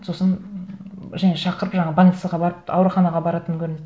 сосын және шақырып жаңа больницаға барып ауруханаға баратын көрінеді